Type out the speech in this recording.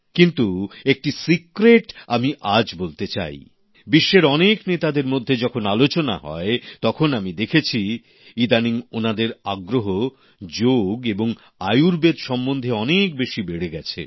কিন্তু একটি গোপন কথা আমি আজ বলতে চাইবিশ্বের অনেক নেতাদের মধ্যে যখন আলোচনা হয় তখন আমি দেখেছি ইদানিং ওনাদের আগ্রহ যোগ এবং আয়ুর্বেদ সম্বন্ধে অনেক বেশি বেড়ে গেছে